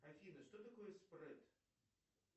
афина что такое спред